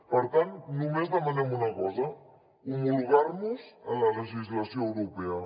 per tant només demanem una cosa homologarnos a la legislació europea